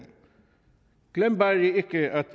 glem bare ikke at